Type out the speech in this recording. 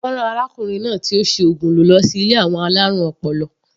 Wọ́n rán arákùnrin náà tí ó si ògùn lò lọsí ilé àwọn alárùn ọpọlọ.